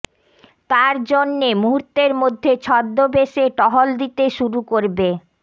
তার জন্যে মুহূর্তের মধ্যে ছদ্মবেশে টহল দিতে শুরু করবে